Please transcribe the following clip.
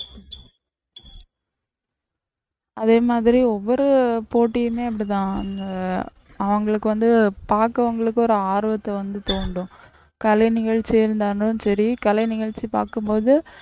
அதே மாதிரி ஒவ்வொரு போட்டியுமே இப்படித்தான் அவங்களுக்கு வந்து பார்க்கிறவங்களுக்கு ஒரு ஆர்வத்தை வந்து தூண்டும், கலை நிகழ்ச்சியா இருந்தாலும் சரி கலை நிகழ்ச்சி பார்க்கும் போது